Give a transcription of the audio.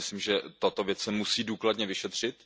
Já si myslím, že tato věc se musí důkladně vyšetřit.